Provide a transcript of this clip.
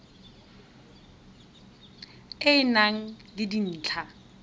e e nang le dintlha